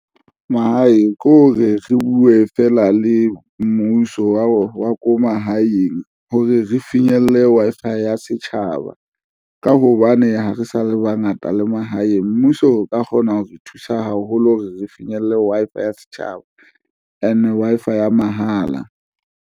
Mahae ke hore re buwe feela le mmuso wa ko mahaeng hore re finyelle Wi-Fi ya setjhaba, ka hobane ha re sa le bangata le mahaeng mmuso o ka kgona ho re thusa haholo, re finyelle Wi-Fi ya setjhaba and Wi-Fi ya mahala.